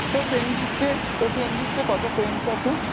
তোর friend list এ, তোর friend list এ কতো friends আছে?